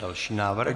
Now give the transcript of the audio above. Další návrh.